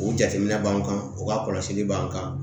O jateminɛ b'an kan o ka kɔlɔsili b'an kan